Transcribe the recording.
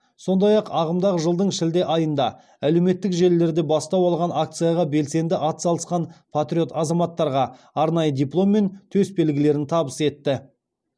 сондай ақ ағымдағы жылдың шілде айында әлеуметтік желілерде бастау алған акцияға белсенді атсалысқан патриот азаматтарға арнайы диплом мен төсбелгілерін табыс етті